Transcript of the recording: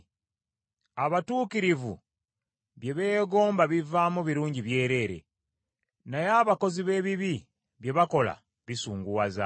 Abatuukirivu bye beegomba bivaamu birungi byereere, naye abakozi b’ebibi bye bakola bisunguwaza.